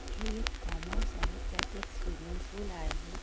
हे एक farm house आहे त्यात एक स्विमिंग फूल आहे.